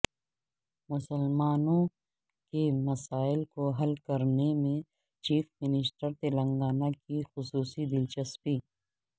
مسلمانوں کے مسائل کو حل کرنے میں چیف منسٹر تلنگانہ کی خصوصی دلچسپی